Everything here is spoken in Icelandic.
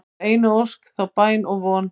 þá einu ósk, þá bæn og von